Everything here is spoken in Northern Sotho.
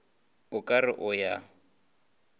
o ka re o ya